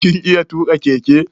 Kin iya tuka keke?